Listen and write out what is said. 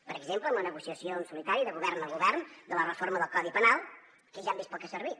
per exemple en la negociació en solitari de govern a govern de la reforma del codi penal que ja hem vist per al que ha servit